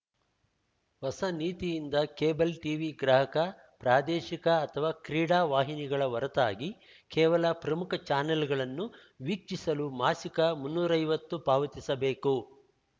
ಹೊಸ ನೀತಿಯಿಂದ cable TV ಗ್ರಾಹಕ ಪ್ರಾದೇಶಿಕ ಅಥವಾ ಕ್ರೀಡಾ ವಾಹಿನಿಗಳ ಹೊರತಾಗಿ ಕೇವಲ ಪ್ರಮುಖ ಚಾನೆಲ್‌ಗಳನ್ನು ವೀಕ್ಷಿಸಲು ಮಾಸಿಕ ಮುನ್ನೂರೈವತ್ತು ಪಾವತಿಸಬೇಕು